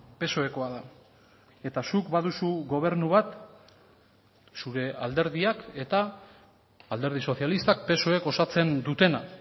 psoekoa da eta zuk baduzu gobernu bat zure alderdiak eta alderdi sozialistak psoek osatzen dutena